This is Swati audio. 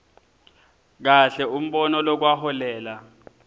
kahle umbono lokwaholela